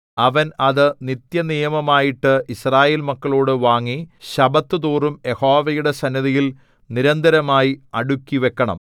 അവൻ അത് നിത്യനിയമമായിട്ടു യിസ്രായേൽ മക്കളോടു വാങ്ങി ശബ്ബത്തുതോറും യഹോവയുടെ സന്നിധിയിൽ നിരന്തരമായി അടുക്കിവക്കണം